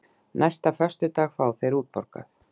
Næsta föstudag fá þeir útborgað.